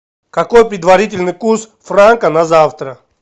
какой предварительный курс франка на завтра